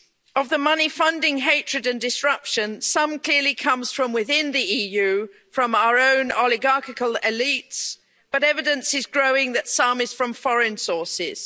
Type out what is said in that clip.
Of the money funding hatred and disruption, some clearly comes from within the EU from our own oligarchical elites, but evidence is growing that some is from foreign sources.